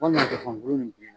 Walima zɔfɔn bulu nin bilenna